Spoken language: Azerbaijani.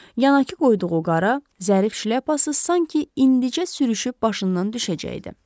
Yanaqı qoyduğu qara, zərif şlyapası sanki indicə sürüşüb başından düşəcəkdi.